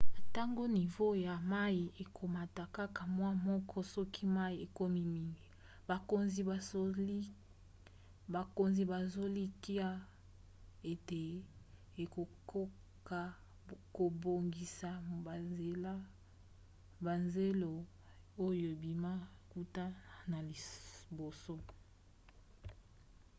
atako nivo ya mai ekomata kaka mwa moko soki mai ekomi mingi bakonzi bazolikia ete ekokoka kobongisa bazelo oyo ebima kuta na liboso